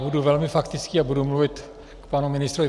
Budu velmi faktický a budu mluvit k panu ministrovi.